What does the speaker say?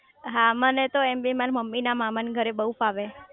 હા મને તો એમ બી માર મમ્મી ના મામા ના ઘરે બહુ ફાવે